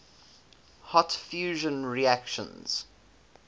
hot fusion reactions